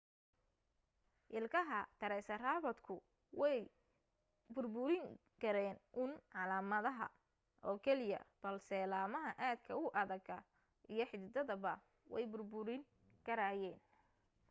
ilkaha taraysaratoobku may burburin karayn uun caleemaha oo keliya balse laamaha aadka u adaga iyo xiddidaba way burburin karayeen